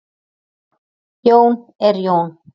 Jón er Jón.